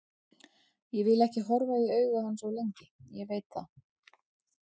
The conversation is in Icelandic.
Ég vil ekki horfa í augu hans of lengi, ég veit það.